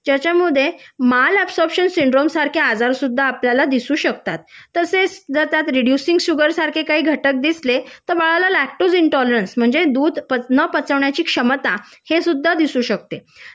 ज्याच्यामध्ये mal absorption syndrome सारखे आजार सुद्धा आपल्याला दिसू शकतात तसेच जर त्यात रिड्युसिंग शुगर सारखे जर काही घटक दिसले त बाळाला लॅक्टोसेंटॉलरन्स दूध न पचवण्याची क्षमता हे सुद्धा दिसू शकते